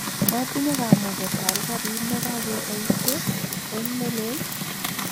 matinye kamuket aal karit ne kakeboisie, Eng' ne lel?